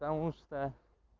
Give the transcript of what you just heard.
потому что